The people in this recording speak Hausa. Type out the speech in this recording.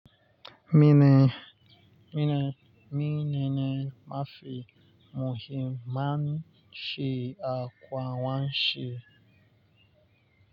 Mi ne, mi ne, mi ne ne mafi muhimman shi'aƙuwa wan shi.